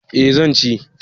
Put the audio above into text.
Eh zan ci